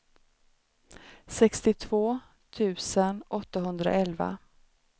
sextiotvå tusen åttahundraelva